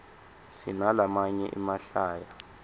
sinalamanye emahlaya